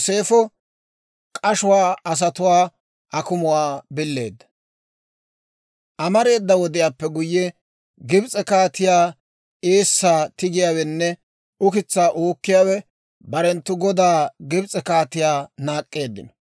Amareeda wodiyaappe guyye, Gibs'e kaatew eessaa tigiyaawenne ukitsaa uukkiyaawe barenttu godaa Gibs'e kaatiyaa naak'k'eeddino.